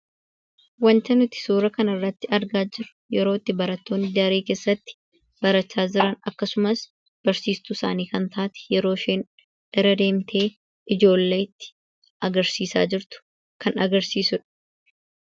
Wanti nuti suuraa kanarratti argaa jirru yeroo itti barattoonni daree keessatti barachaa jiran akkasumas barsiistuu isaanii kan taate yeroo isheen bira deemtee ijoolleetti agarsiisaa jirtu kan agarsiisu dha.